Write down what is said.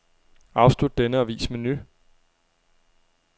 Afslut denne og vis menu.